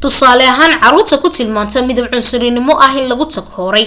tusaale ahaan caruurta ku tilmaamta midab cunsurinimo ah in lagu takooray